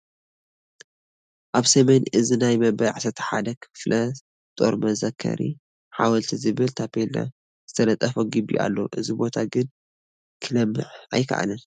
ኣብ ሰሜን እዝ ናይ መበል 11 ክፍለ ጦር መዘከሪ ሓወልቲ ዝብል ታፔላ ዝተለጠፎ ግቢ ኣሎ፡፡ እዚ ቦታ ግን ክለምዕ ኣይከኣለን፡፡